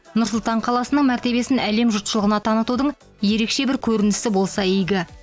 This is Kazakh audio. нұр сұлтан қаласының мәртебесін әлем жұртшылығына танытудың ерекше бір көрінісі болса игі